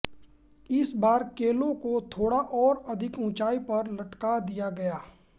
इस बार केलों को थोड़ा और अधिक ऊंचाई पर लटका दिया गया